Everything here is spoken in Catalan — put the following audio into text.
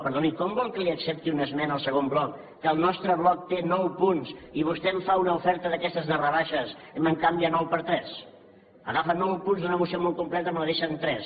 perdoni com vol que li accepti una esmena al segon bloc que el nostre bloc té nou punts i vostè em fa una oferta d’aquestes de rebaixes i me’n canvia nou per tres nou punts d’una moció molt completa i me la deixa en tres